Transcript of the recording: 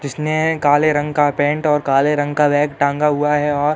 जिसने काले रंग का पैंट और काले रंग का बैग टांगा हुआ है और --